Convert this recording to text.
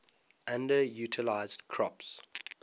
underutilized crops